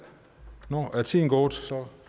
nu er tiden gået så